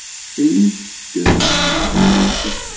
brýndum manni með gráleitt skegg.